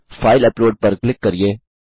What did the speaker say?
file upload पर click करिये